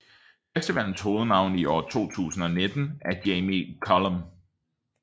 Festivalens hovednavn i år 2019 er Jamie Cullum